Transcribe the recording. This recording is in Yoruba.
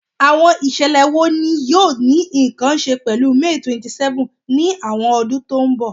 Awọn iṣẹlẹ wo ni yoo ni nkan ṣe pẹlu May 27th ni awọn ọdun to nbọ?